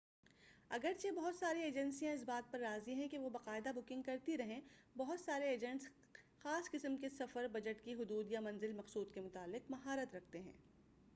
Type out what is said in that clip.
اگرچہ بہت ساری ایجنسیاں اس بات پر راضی ہیں کہ وہ باقاعدہ بکنگ کرتی رہیں بہت سارے ایجنٹس خاص قسم کے سفر بجٹ کی حدود یا منزل مقصود کے متعلق مہارت رکھتے ہیں